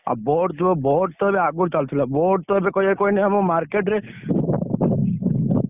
ଆଉ BoAt ଯୋଉ BoAt ତ ହେଲେ ଆଗୁରୁ ଚାଲୁଥିଲା। BoAt ତ କହିବାକୁ କହନି ଏବେ market ରେ